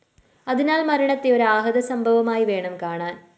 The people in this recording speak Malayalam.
അതിനാല്‍ മരണത്തെ ഒരാഹഌദസംഭവമായിവേണം കാണാന്‍